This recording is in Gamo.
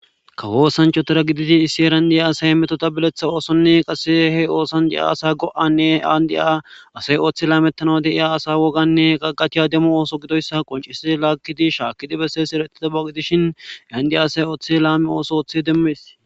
kawoo sanchotera giditi issi erandi7a asay metota bileththa oosonne qassehe oosandi7a asa go7anne aandi7a asay ooththi laametana deiya asa woganne qaqachiya demmu ooso gidoyssa qoncisi laakkidi shaakkidi besse si eretita baqitishin andi asay ooththe laame ooso ooththe demmees